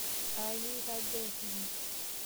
Aya yie itadee tine?